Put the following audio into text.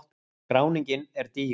Skráningin er dýr